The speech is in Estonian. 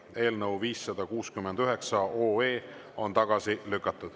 Eelnõu 569 on tagasi lükatud.